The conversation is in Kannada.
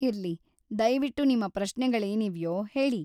ಇರ್ಲಿ, ದಯವಿಟ್ಟು ನಿಮ್ಮ ಪ್ರಶ್ನೆಗಳೇನಿವ್ಯೋ ಹೇಳಿ.